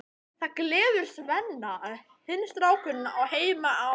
Það gleður Svenna að hinn strákurinn á heima á